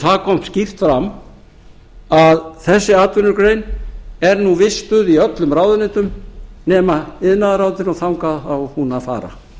það kom skýrt fram að þessi atvinnugrein er nú vistuð í öllum ráðuneytum nema iðnaðarráðuneytinu og þangað á hún að fara